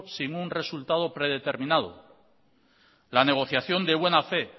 sin un resultado predeterminado la negociación de buena fe